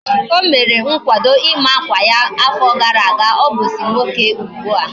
O mere nkwado ima akwa ya na afo gara aga. Obuzi nwoke ugbua